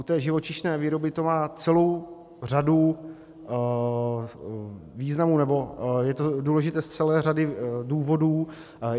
U té živočišné výroby to má celou řadu významů, nebo je to důležité z celé řady důvodů.